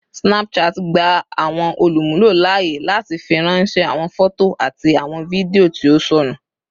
Snapchat gba awọn olumulo laaye lati firanṣẹ awọn fọto ati awọn fidio ti o sọnu.